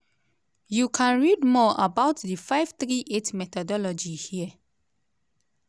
you can read more about the 538 methodology here.